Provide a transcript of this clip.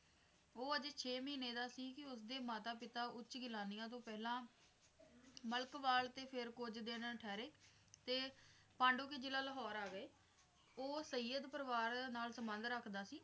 ਉਹ ਅਜੇ ਛੇ ਮਹੀਨੇ ਦਾ ਸੀ ਕੇ ਉਸ ਦੇ ਮਾਤਾ ਪਿਤਾ ਉਂਚ ਗਿਲਾਨੀਆ ਤੋਂ ਪਹਿਲਾਂ ਮਲਕਵਾਲ ਤੇ ਫਿਰ ਕੁੱਝ ਦਿਨ ਠਹਿਰੇ ਤੇ ਪਾਂਡੋਕੇ ਜਿਲ੍ਹਾ ਲਾਹੌਰ ਆ ਗਏ, ਉਹ ਸਈਅਦ ਪਰਿਵਾਰ ਨਾਲ ਸੰਬੰਧ ਰੱਖਦਾ ਸੀ।